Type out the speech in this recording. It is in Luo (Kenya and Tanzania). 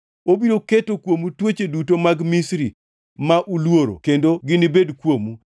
Obiro keto kuomu tuoche duto mag Misri ma uluoro kendo ginibed kuomu.